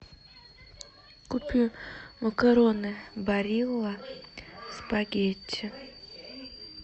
купи макароны барилла спагетти